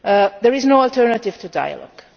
There is no alternative to dialogue